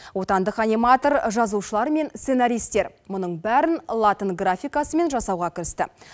отандық аниматор жазушылар мен сценаристер мұның бәрін латын графикасымен жасауға кірісті